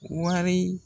Wari